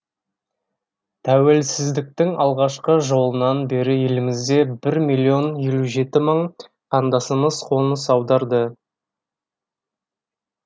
тәуелсіздіктің алғашқы жылынан бері елімізге бір миллион елу жеті мың қандасымыз қоныс аударды